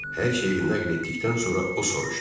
Hər şeyi nəql etdikdən sonra o soruşdu.